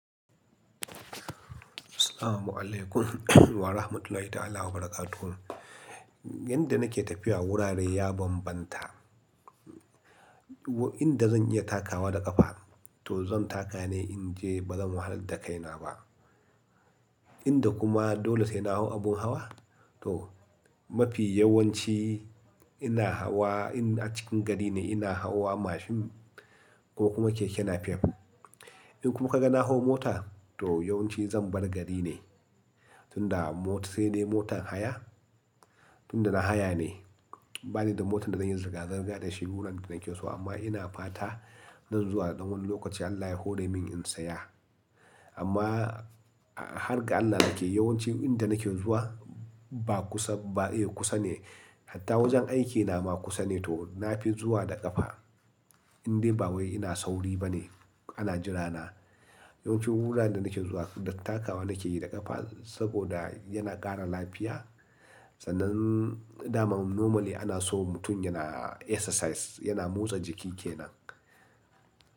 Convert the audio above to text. Assalamualaikum warahmatullahi ta'ala wabarakatuh. Yanda nake tafiya wurare ya bambanta. Inda zan iya takawa da ƙafa to zan taka ne in je ba zan wahalar da kaina ba. Inda kuma dole sai na hau abun hawa to mafi yawanci ina hawa in a cikin gari ne ina hawa mashin ko kuma keke nafef. In kuma ka ga na hau mota to yawanci zan bar gari ne. Tunda mot sai dai motan haya, tunda na haya ne. Ba ni da motar da zan yi zirga-zirga da shi wuraren da nake so amma ina fata nan zuwa da ɗan wani lokaci Allah ya hore min in saya. Amma har ga Allah nake yawanci inda nake zuwa ba kusa, ba kusa ne. Hatta wajen aikina ma kusa ne, to nafi zuwa da ƙafa indai ba wai ina sauri ba ne ana jira na. Yawancin wuraren da nake zuwa, da takawa nakeyi da ƙafa saboda a yana ƙara lafiya. Sannan dama normally ana so mutum yana exercise, yana motsa jiki ke nan.